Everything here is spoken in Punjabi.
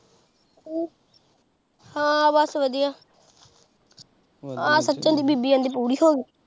ਹਾਂ ਬਸ ਵਧੀਆ ਆਹ ਸਚਿਨ ਦੀ ਬੀਬੀ ਕਹਿੰਦੇ ਪੂਰੀ ਹੋਗੀ